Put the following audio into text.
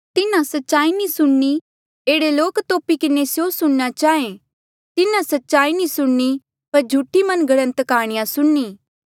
तिन्हा सच्चाई नी सुणनीं पर झूठी मन घड़ंत काह्णियां सुणनीं